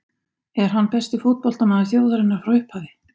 En er hann besti fótboltamaður þjóðarinnar frá upphafi?